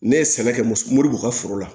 Ne ye sɛbɛn kɛ moribugu u ka foro la